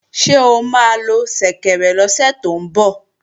Ṣé o máa lo ṣẹ̀kẹ̀rẹ̀ lọ́sẹ̀ tó ń bọ̀?